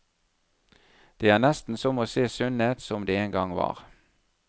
Det er nesten som å se sundet som det engang var.